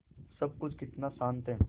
सब कुछ कितना शान्त है